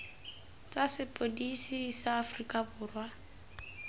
tsa sepodisi sa aforika borwa